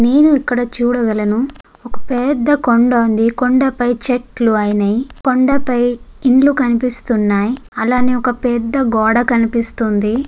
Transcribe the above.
నేను ఇక్కడ చూడగలను ఒక పెద్ద కొండ ఉంది. కొండ పై చెట్లు అయినై కొండ పై ఇల్లు కనిపిస్తున్నాయి. అలానే ఒక పెద్ద గోడ కనిపిస్తుంది.